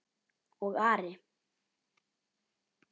Og Ari?